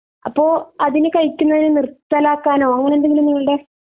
അപ്പൊ അതിനു കഴിക്കുന്നത് നിർത്തലാക്കാനോ അങ്ങനെ എന്തെങ്കിലും നിങ്ങളുടെ